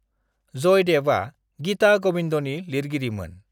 जयदेवआ Geeta गविंदनि लिरगिरिमोन।